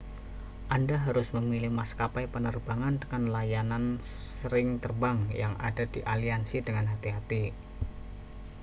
anda harus memilih maskapai penerbangan dengan layanan sering terbang yang ada di aliansi dengan hati-hati